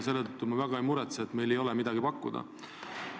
Selle pärast me väga ei muretse, et meil ei ole midagi pakkuda.